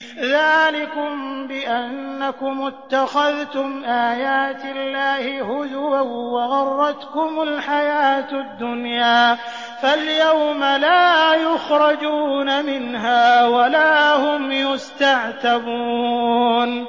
ذَٰلِكُم بِأَنَّكُمُ اتَّخَذْتُمْ آيَاتِ اللَّهِ هُزُوًا وَغَرَّتْكُمُ الْحَيَاةُ الدُّنْيَا ۚ فَالْيَوْمَ لَا يُخْرَجُونَ مِنْهَا وَلَا هُمْ يُسْتَعْتَبُونَ